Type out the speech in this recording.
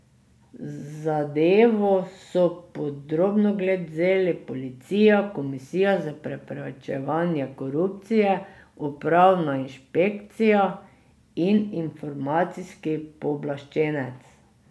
Zadevo so pod drobnogled vzeli policija, Komisija za preprečevanje korupcije, upravna inšpekcija in informacijski pooblaščenec.